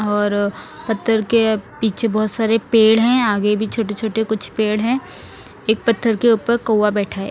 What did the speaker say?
और पत्थर के पीछे बहुत सारे पेड़ हैं आगे भी छोटे छोटे कुछ पेड़ हैं एक पत्थर के ऊपर कौआ बैठा है।